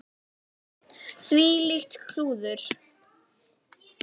Þvílíkt klúður.